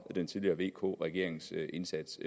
den tidligere vk regerings indsats